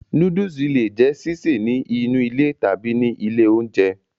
Nóódùsì le è jẹ́ sísè ní inú ilé tàbí ní ilé oúnjẹ